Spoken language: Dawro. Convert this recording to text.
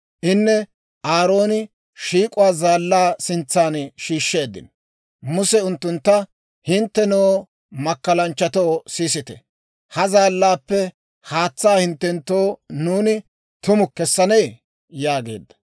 Inne Aarooni shiik'uwaa zaallaa sintsan shiishsheeddino; Muse unttuntta, «Hinttenoo makkalanchchatoo, sisite; ha zaallaappe haatsaa hinttenttoo nuuni tumu kessanee?» yaageedda.